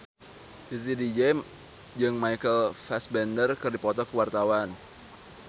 Titi DJ jeung Michael Fassbender keur dipoto ku wartawan